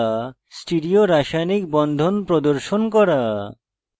stereo রাসায়নিক বন্ধন প্রদর্শন করা